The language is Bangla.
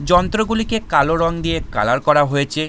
যন্ত্রগুলিকে কালো রং দিয়ে কালার করা হয়েছে।